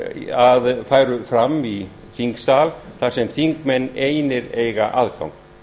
að fram færu í þingsal þar sem þingmenn einir hafa aðgang